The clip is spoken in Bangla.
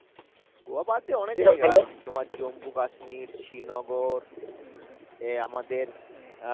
গোয়া বাদে অনেক জায়গা আছে তোমার জম্বু কাশ্মির, শ্রী নগর এ আমাদের আহ